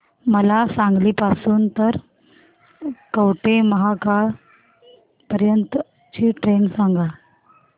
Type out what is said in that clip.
मला सांगली पासून तर कवठेमहांकाळ पर्यंत ची ट्रेन सांगा